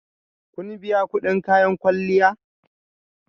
Kun biya kudin kayan kwalliya?